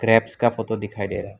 Grapes का photo दिखाई दे रहा।